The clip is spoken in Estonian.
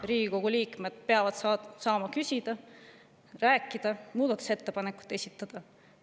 Riigikogu liikmed peavad saama küsida, rääkida, muudatusettepanekuid esitada.